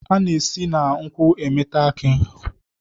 A na-esi na nkwu emeta aki.